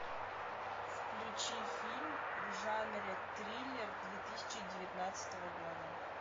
включи фильм в жанре триллер две тысячи девятнадцатого года